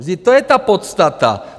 Vždyť to je ta podstata.